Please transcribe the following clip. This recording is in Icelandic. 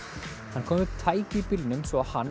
hann kom upp tæki í bílnum svo að hann